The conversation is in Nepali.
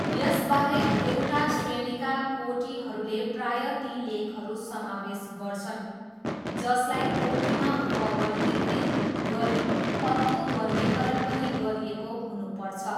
यसबाहेक एउटा श्रेणीका कोटीहरूले प्राय ती लेखहरू समावेश गर्छन् जसलाई कोटीमा उपवर्गीकृत गरी अर्को वर्गीकरण पनि गरिएको हुनुपर्छ।